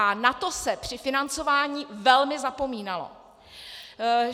A na to se při financování velmi zapomínalo.